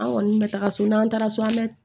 An kɔni bɛ taga so n'an taara so an bɛ